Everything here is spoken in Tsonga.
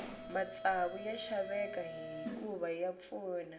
matsavu ya xaveka hikuva ya pfuna